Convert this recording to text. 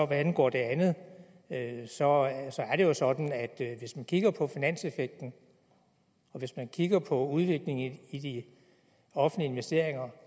hvad angår det andet så er det jo sådan at hvis man kigger på finanseffekten og hvis man kigger på udviklingen i de offentlige investeringer